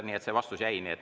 Nii et see vastus jäi nii.